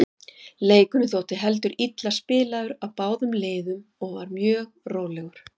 Leikurinn þótti heldur illa spilaður af báðum liðum og var mjög rólegur.